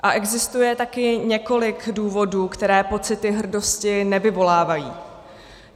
A existuje také několik důvodů, které pocity hrdosti nevyvolávají.